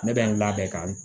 Ne bɛ n labɛn ka